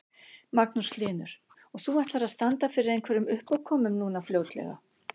Magnús Hlynur: Og þú ætlar að standa fyrir einhverjum uppákomum núna fljótlega?